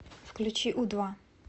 включи у два